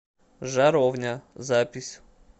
жаровня запись